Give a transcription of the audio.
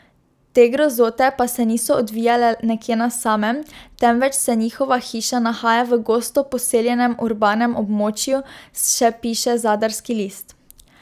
Te grozote pa se niso odvijale nekje na samem, temveč se njihova hiša nahaja v gosto poseljenem urbanem območju, še piše Zadarski list.